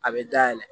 A bɛ dayɛlɛ